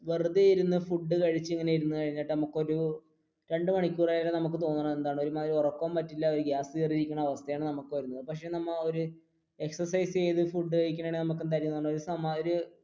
നമ്മൾ വെറുതെ ഇരുന്ന് ഫുഡ് കഴിച്ചിട്ട് ഇങ്ങനെ ഇരുന്ന് കഴിഞ്ഞിട്ട് നമുക്ക് ഒരു രണ്ടു മണിക്കൂർ കഴിയാൻ നേരം തോന്നുന്നത് എന്താണ് ഒരുമാതിരി കേറിയിരിക്കുന്ന അവസ്ഥയാണ് നമുക്ക് വരുന്നത് പക്ഷെ നമ്മ ഒരു exercise ചെയ്തു ഫുഡ് കഴിക്കുകയാണെങ്കിൽ ഒരു